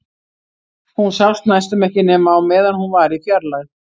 Hún sást næstum ekki nema á meðan hún var í fjarlægð.